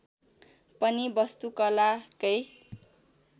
पनि वस्तु कला कै